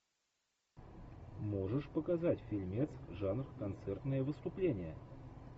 можешь показать фильмец жанр концертное выступление